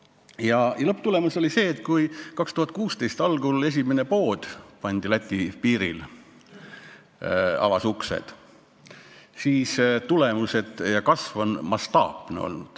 Ja lõpuks, kui 2016 algul avas Läti piiril uksed esimene pood, siis sellest ajast peale on kasv olnud mastaapne.